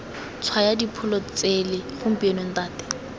tshwaya dipholo tsele gompieno ntate